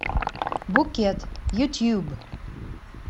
букет ютьюб